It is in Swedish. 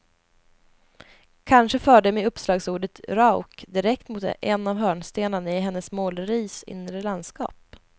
Kanske förde mig uppslagsordet rauk direkt mot en av hörnstenarna i hennes måleris inre landskap.